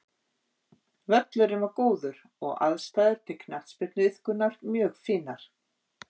Völlurinn var góður og aðstæður til knattspyrnuiðkunar mjög fínar.